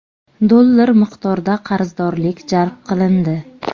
dollar miqdorda qarzdorlik jalb qilindi.